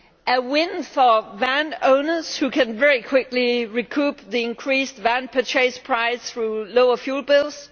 a win for van owners, who can very quickly recoup the increased van purchase price through lower fuel bills